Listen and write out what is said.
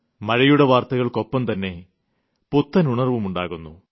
മഴയുടെ വാർത്തകൾക്കൊപ്പം തന്നെ പുത്തൻ ഉണർവ്വും ഉണ്ടാകുന്നു